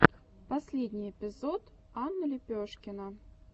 последний эпизод анна лепешкина